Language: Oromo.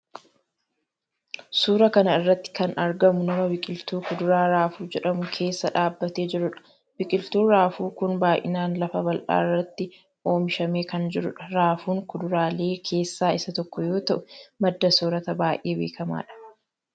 Suura kana irratti kan argamu nama biqiltuu kuduraa raafuu jedhamu keessa dhaabbatee jirudha. Biqiltuun raafuu kun baay'inaan lafa bal'aa irratti oomishamee kan jirudha. Raafuun kuduraalee keessaa isa tokko yoo ta'u madda soorataa baay'ee beekkamaadh.